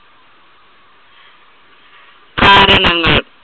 കാരണങ്ങൾ.